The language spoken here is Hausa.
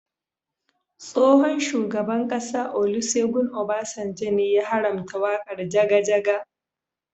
Tsohon shugaban ƙasa Olusegun Obasanjo ne ya haramta waƙar jaga jaga.